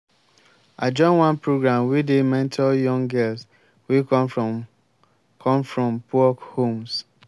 i join one program wey dey mentor young girls wey come from come from poor homes.